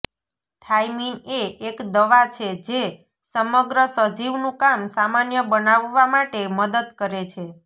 thiamine એ એક દવા છે જે સમગ્ર સજીવનું કામ સામાન્ય બનાવવા માટે મદદ કરે છે